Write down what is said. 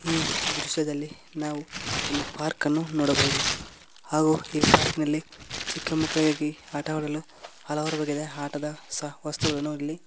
ಈ ದೃಶ್ಯದಲ್ಲಿ ನಾವು ಒಂದು ಪಾರ್ಕ ನ್ನು ನೋಡಬಹುದು ಹಾಗೂ ಈ ಪಾರ್ಕಿ ನಲ್ಲಿ ಚಿಕ್ಕ ಮಕ್ಕಳಿಗಾಗಿ ಆಟ ಆಡಲು ಹಲವಾರು ಬಗೆದ ಆಟದ ವಸ್ತುಗಳನ್ನು ಇಲ್ಲಿ.